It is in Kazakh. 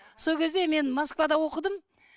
сол кезде мен москвада оқыдым